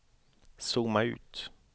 zooma ut